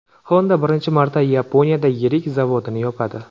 Honda birinchi marta Yaponiyada yirik zavodini yopadi.